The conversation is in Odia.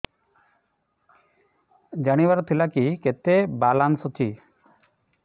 ଜାଣିବାର ଥିଲା କି କେତେ ବାଲାନ୍ସ ଅଛି